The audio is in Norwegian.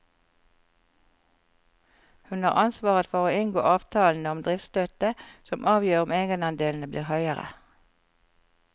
Hun har ansvaret for å inngå avtalene om driftsstøtte, som avgjør om egenandelene blir høyere.